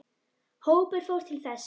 Hópur fór til þess.